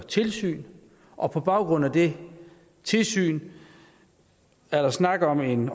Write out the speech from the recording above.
tilsyn og på baggrund af det tilsyn er der snak om en